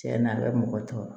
Tiɲɛna a bɛ mɔgɔ tɔɔrɔ